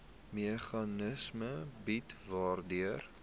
meganisme bied waardeur